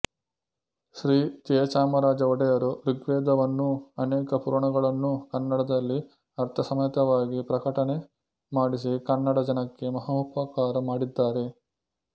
ಶ್ರೀ ಜಯಚಾಮರಾಜ ಒಡೆಯರು ಋಗ್ವೇದವನ್ನೂ ಅನೇಕ ಪುರಾಣಗಳನ್ನೂ ಕನ್ನಡದಲ್ಲಿ ಅರ್ಥಸಮೇತವಾಗಿ ಪ್ರಕಟಣೆ ಮಾಡಿಸಿ ಕನ್ನಡ ಜನಕ್ಕೆ ಮಹೋಪಕಾರ ಮಾಡಿದ್ದಾರೆ